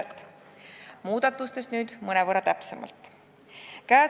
Nüüd muudatustest mõnevõrra täpsemalt.